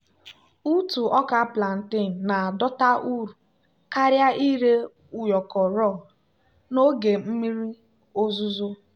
ntụ ọka plantain na-adọta uru karịa ire ụyọkọ raw n'oge mmiri ozuzo.